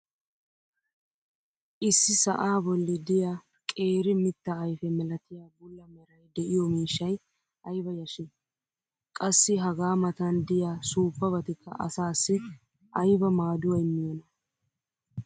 issi sa"aa boli diya qeeri mitaa ayfe malatiya bula meray diyo miishshay ayba yashii! qassi hagaa matan diya suuppabatikka asaassi ayba maaduwa immiyoonaa?